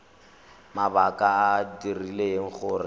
mabaka a a dirileng gore